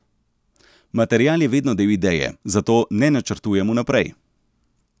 Material je vedno del ideje, zato ne načrtujem vnaprej.